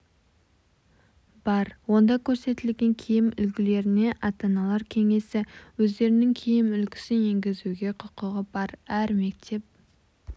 бар онда көрсетілген киім үлгілеріне ата-аналар кеңесі өздерінің киім үлгісін енгізуге құқығы бар әр мектеп